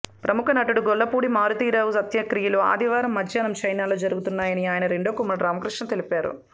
ప్రముఖ నటుడు గొల్లపూడి మారుతీరావు అంత్యక్రియలు ఆదివారం మధ్యాహ్నం చెన్నైలో జరుగుతాయని ఆయన రెండో కుమారుడు రామకృష్ణ తెలిపారు